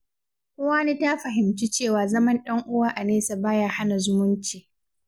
Uwani ta fahimci cewa zaman ɗan’uwa a nesa ba ya hana zumunci.